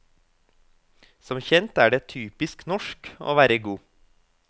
Som kjent er det typisk norsk å være god.